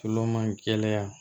Tulo man gɛlɛya